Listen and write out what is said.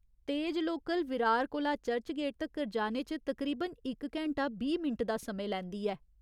तेज लोकल विरार कोला चर्चगेट तक्कर जाने च तकरीबन इक घैंटा बीह् मिंट दा समें लैंदी ऐ।